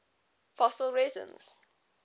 fossil resins